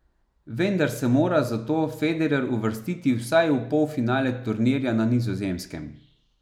Vendar se mora za to Federer uvrstiti vsaj v polfinale turnirja na Nizozemskem.